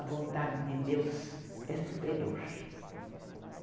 A vontade de Deus é superior.